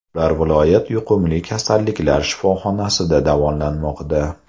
Ular viloyat yuqumli kasalliklar shifoxonasida davolanmoqda.